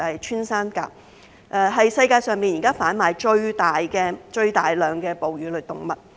穿山甲是世界上現時販賣最大量的哺乳類動物。